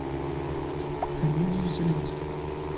комедии с зеленским